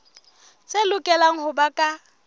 tse lokelang ho ba ka